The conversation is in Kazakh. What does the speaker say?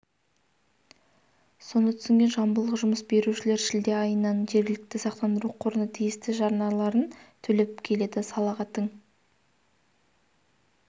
соны түсінген жамбылдық жұмыс берушілер шілде айынан жергілікті сақтандыру қорына тиісті жарналарын төлеп келеді салаға тың